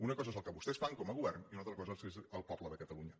una cosa és el que vostès fan com a govern i una altra cosa és el poble de catalunya